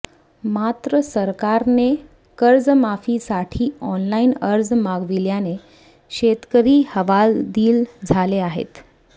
मात्र सरकारने कर्जमाफीसाठी ऑनलाइन अर्ज मागविल्याने शेतकरी हवालदिल झाले आहेत